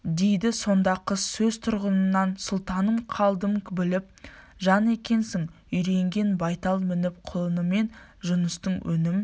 дейді сонда қыз сөз тұрғыңнан сұлтаным қалдым біліп жан екенсің үйренген байтал мініп құлынымын жұныстың өңім